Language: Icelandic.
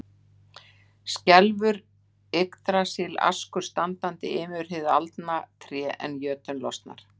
Skelfur Yggdrasils askur standandi, ymur hið aldna tré, en jötunn losnar.